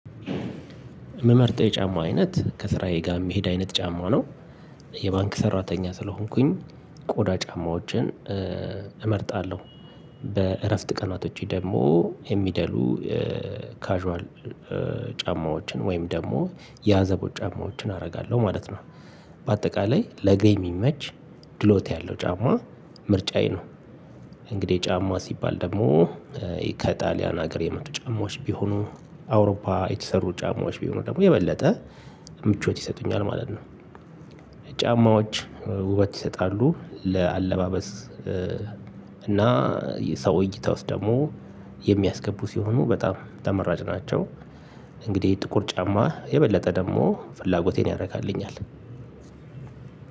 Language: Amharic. ምመርጠው የጫማ አይነት ከስራዬ ጋር የሚሄድ አይነት ጫማ ነው። የባንክ ሰራተኛ ስለሆንኩኝ ቆዳ ጫማዎችን እመርጣለሁ። በእረፍት ቀናቶቼ ደግሞ የሚደሉ ካዥዋል ጫማዎችን ወይም ደግሞ የአዘቦት ጫማዎችን አረጋለሁ ማለት ነው። በአጠቃላይ ለገ የሚመች ድሎት ያለው ጫማ ምርጫዬ ነው። እንግዲህ ጫማ ሲባል ደግሞ ከይ ከጣሊያን ሀገር የመጡ ጫማዎች ቢሆኑ አውሮፓ የተሰሩ ጫማዎች ቢሆኑ ደግሞ የበለጠ ምቾት ይሰጡኛል ማለት ነው። ጫማዎች ውበት ይሰጣሉ። ለአለባበስ እና የሰው እይታ ውስጥ ደግሞ የሚያስገቡ ሲሆኑ በጣም ተመራጭ ናቸው። እንግዲህ ጥቁር ጫማ የበለጠ ደግሞ ፍላጎቴን ያረካልኛል።